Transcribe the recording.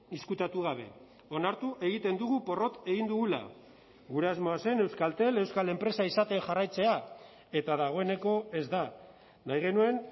ezkutatu gabe onartu egiten dugu porrot egin dugula gure asmoa zen euskaltel euskal enpresa izaten jarraitzea eta dagoeneko ez da nahi genuen